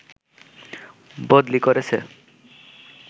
বদলি করেছে